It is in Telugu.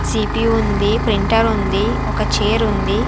సి-పి-యు ఉంది ప్రింటర్ ఉంది ఒక చైర్ ఉంది.